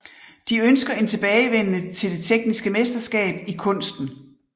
De ønsker en tilbagevenden til det tekniske mesterskab i kunsten